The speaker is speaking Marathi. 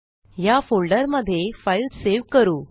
ह्या फोल्डरमध्ये फाईल सेव्ह करू